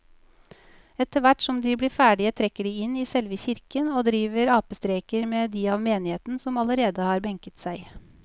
Etterthvert som de blir ferdige trekker de inn i selve kirken og driver apestreker med de av menigheten som allerede har benket seg.